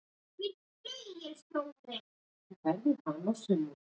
Fimm mínútum eftir að flautað var til seinni hálfleiks kom fyrsta markið.